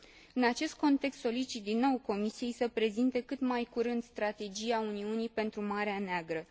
În acest context, solicit din nou Comisiei să prezinte cât mai curând strategia Uniunii pentru Marea Neagră.